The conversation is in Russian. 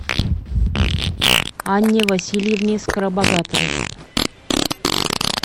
анне васильевне скоробогатовой